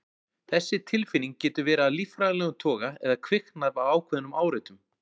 Þessi tilfinning getur verið af líffræðilegum toga eða kviknað af ákveðnum áreitum.